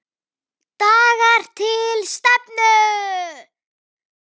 DAGAR TIL STEFNU.